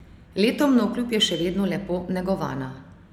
Letom navkljub je še vedno lepo negovana.